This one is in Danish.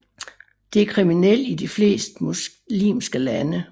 Det er kriminelt i de fleste muslimske lande